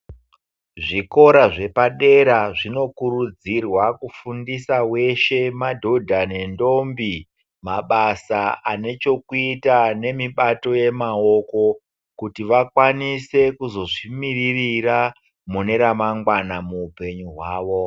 Zvikora zvepa dera zvino kurudzirwa kufundisa weshe, madhodha nendombi mabasa ane chekuita nemibato yemawoko, kuti vakwanise kuzozvi miririra mune ramangwana muupenyu hwawo.